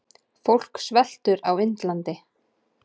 Fólk sveltur á Indlandi.